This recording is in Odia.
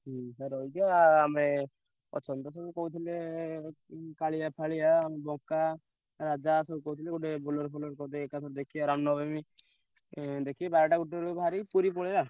ହୁଁ ସେଠି ରହିଯିବା ଆମେ ଅଛନ୍ତି ତ ସବୁ କହୁଥିଲେ ଏଁ ଉଁ କାଳିଆ ଫାଳିଆ ଉଁ ବକା ରାଜା ସବୁ କହୁଥିଲେ ଗୋଟେ Bolero କରିଦେ ଏକାଥରେ ଦେଖିଆ ରାମନବମୀ ଉଁ ଦେଖିକି ବାରେଟା ଗୋଟେ ବେଳୁ ବାହାରି ପୁରୀ ପଳେଇଆ।